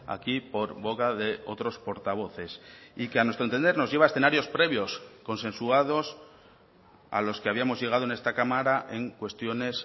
aquí por boca de otros portavoces y que a nuestro entender nos lleva a escenarios previos consensuados a los que habíamos llegado en esta cámara en cuestiones